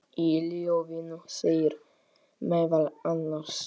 Í ljóðinu segir meðal annars